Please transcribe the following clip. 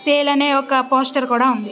Sale అనే ఒక poster కూడా ఉన్నది.